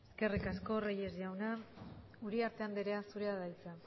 eskerrik asko reyes jauna uriarte andrea zurea da hitza